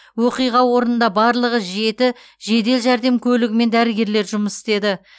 оқиға орнында барлығы жеті жедел жәрдем көлігімен дәрігерлер жұмыс істеді